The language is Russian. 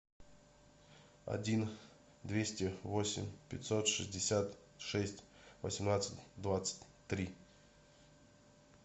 один двести восемь пятьсот шестьдесят шесть восемнадцать двадцать три